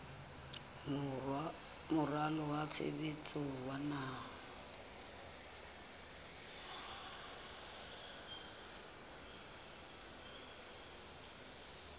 moralo wa tshebetso wa naha